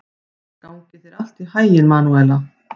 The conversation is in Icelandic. Gangi þér allt í haginn, Manúela.